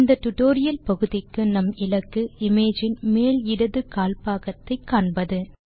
இந்த டியூட்டோரியல் பகுதிக்கு நம் இலக்கு இமேஜ் இன் மேல் இடது கால்பாகத்தை காண்பது